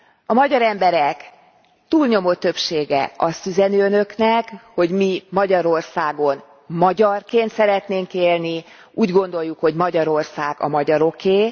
A magyar emberek túlnyomó többsége azt üzeni Önöknek, hogy mi Magyarországon magyarként szeretnénk élni, úgy gondoljuk, hogy Magyarország a magyaroké.